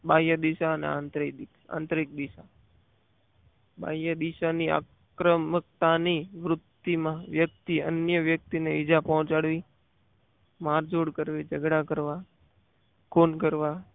ગ્રાહ્ય દિશા અને આંતરિક દિશા ગ્રાહ્ય દિશાની આક્રમકતા ની વૃત્તિ માં વ્યક્તિ અન્ય વ્યક્તિ ની વ્યક્તિને બીજા પહોંચાડવી માર જુડ કરવી ઝઘડા કરવા ખૂન કરવા